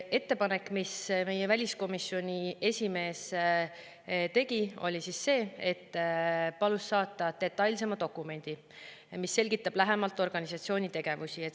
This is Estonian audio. Ettepanek, mille väliskomisjoni esimees tegi, oli see, et ta palus saata detailsema dokumendi, mis selgitab lähemalt organisatsiooni tegevust.